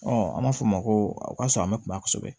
an b'a fɔ o ma ko o kasɔrɔ an bɛ kuma kosɛbɛ